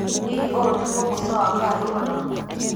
Hihi ũũ nĩguo mũico wa Kuardiola?